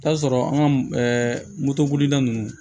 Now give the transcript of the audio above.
I bi taa sɔrɔ an ka moto bolila nunnu